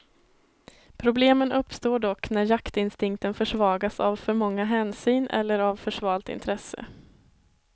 Problemen uppstår dock när jaktinstinkten försvagas av för många hänsyn, eller av för svalt intresse.